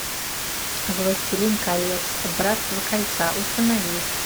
властелин колец братство кольца установи